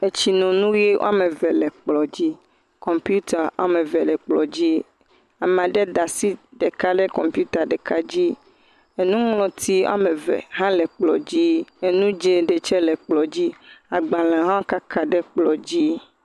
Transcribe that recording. Etsinonu ʋe am eve le kplɔ̃ dzi eye kɔmpiuta ame ve le kplɔ̃ dzi. Ama ɖe da asi ɖeka ɖe kɔmpiuta ɖeka dzi. Enuŋlɔti ame ve hã le kplɔ̃ dzi. Enu dzẽ ɖe tsɛ le kplɔ̃ dzi. Agbalẽ hã wo kaka ɖe kplɔ̃ dzi.